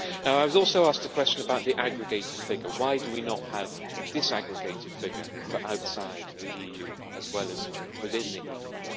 I was also asked a question about the aggregated figure. Why do we not have a disaggregated figure for outside the EU as well as within the EU?